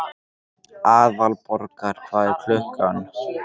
Aðalborgar, hvað er klukkan?